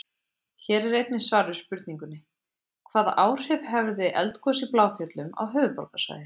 Hér er einnig svar við spurningunni: Hvaða áhrif hefði eldgos í Bláfjöllum á höfuðborgarsvæðið?